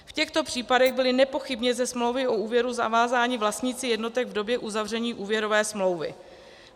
V těchto případech byli nepochybně ze smlouvy o úvěru zavázáni vlastníci jednotek v době uzavření úvěrové smlouvy.